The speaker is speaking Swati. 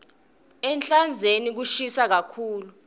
ehlandzeni kushisa kakhulu